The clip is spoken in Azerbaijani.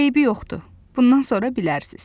Eybi yoxdur, bundan sonra bilərsiz.